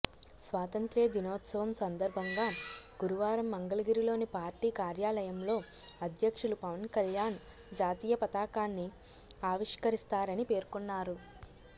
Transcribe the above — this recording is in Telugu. స్వాతంత్య్ర దినోత్సవం సందర్భంగా గురువారం మంగళగిరిలోని పార్టీ కార్యాలయంలో అధ్యక్షులు పవన్కళ్యాణ్ జాతీయపతాకాన్ని ఆవిష్కరిస్తారని పేర్కొన్నారు